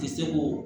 Ti se k'o